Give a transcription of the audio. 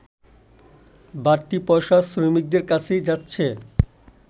বাড়তি পয়সা শ্রমিকদের কাছেই যাচ্ছে